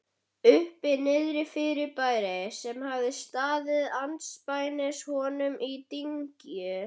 Uppi-Niðri-fyrirbæri, sem hafði staðið andspænis honum í dyngju